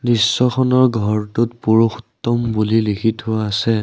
দৃশ্যখনৰ ঘৰটোত পুৰুষোত্তম বুলি লিখি থোৱা আছে।